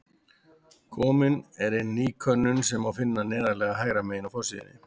Komin er inn ný könnun sem má finna neðarlega hægra megin á forsíðu.